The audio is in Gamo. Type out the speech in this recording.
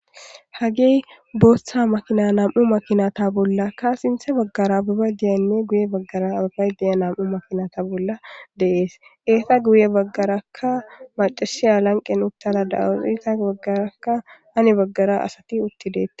Hagey bootha makina nam'u makinata bollaka sinththe bagaraka ogey de'iya guye bagaraka ogey de'iya nam'u makinata bolla de'ees. Eeta guye baggaraka maccasiya lanqen uttada de'awus. Eeta bagaraka hani baggara asati utti deetes.